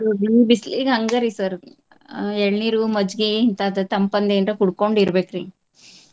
ಈ ಬಿಸಲಿಗ ಹಂಗ ರಿ sir ಆ ಎಳ್ನೀರು, ಮಜ್ಜಿಗಿ ಇಂತಾದ ತಂಪಂದ ಏನ್ರ ಕುಡ್ಕೊಂಡ್ ಇರ್ಬೇಕ್ರಿ .